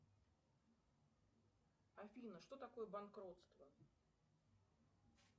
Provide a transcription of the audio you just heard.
афина что такое банкротство